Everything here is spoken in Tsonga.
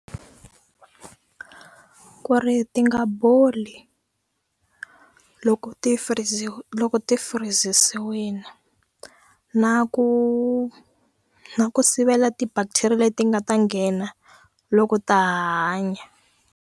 Ku ri ti nga boli loko ti loko ti na ku na ku sivela ti-bacteria leti nga ta nghena loko ta ha hanya.